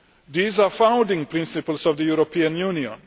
These are founding principles of the European Union.